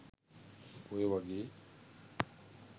ඔය වගේ